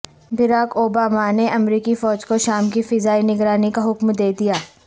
Barack Obama نے امریکی فوج کو شام کی فضائی نگرانی کا حکم دے دیا